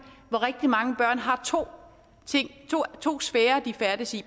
hvor rigtig mange børn har to sfærer de færdes i